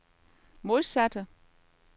modsatte